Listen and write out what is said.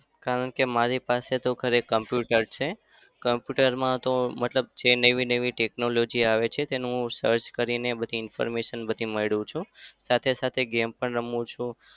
કારણકે મારી પાસે તો ઘરે computer છે. computer માં તો મતલબ જે નવી નવી technology આવે છે. તેનું હું search કરીને બધી information બધી મેળવું છું. સાથે-સાથે game પણ રમું છું.